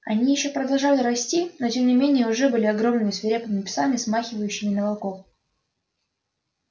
они ещё продолжали расти но тем не менее уже были огромными свирепыми псами смахивающими на волков